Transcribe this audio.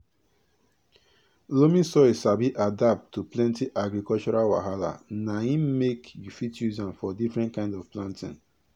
loamy soil sabi adapt to plenti agricultural wahala na im make you fit use am for differnt kind of planting